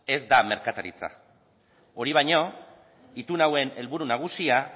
ez da merkataritza hori baino itun hauen helburu nagusia